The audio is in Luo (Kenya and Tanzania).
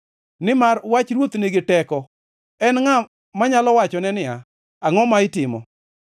Nimar wach ruoth nigi teko, en ngʼa manyalo wachone niya, “Angʼo ma itimo?”